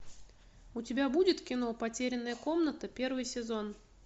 у тебя будет кино потерянная комната первый сезон